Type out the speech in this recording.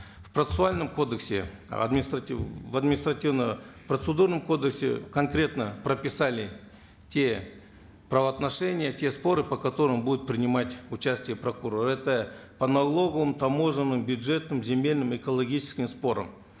в процессуальном кодексе в административно процедурном кодексе конкретно прописали те правоотношения те споры по которым будут принимать участие прокуроры это по налоговым таможенным бюджетным земельным экологическим спорам